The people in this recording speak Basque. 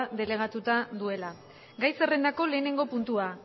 delegatuta duela gai zerrendako lehenengo puntua